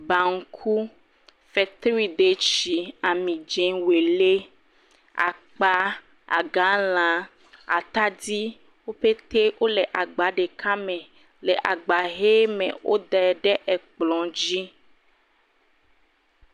Baŋku, fetridetsi, amidzẽ, welé, akpaa, agalãa, atadi, woƒetee wole agba ɖeka me. Le agba ʋee me. Wodɛ ɖe ekplɔ̃ dzi